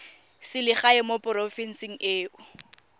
selegae mo porofenseng e o